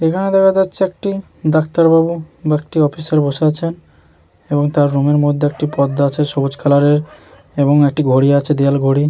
এখানে দেখা যাচ্ছে একটি ডাক্তার বাবু বা একটি অফিসার বসেআছেন। এবং তার রুমের -এর মধ্যে একটি পর্দা আছে সবুজ কালার এর এবং একটি ঘড়ি আছে দেওয়াল ঘড়ি।